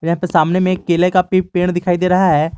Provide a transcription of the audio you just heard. यहाँ पे सामने में एक केले का भी पेड़ दिखाई दे रहा है।